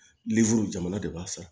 jamana de b'a san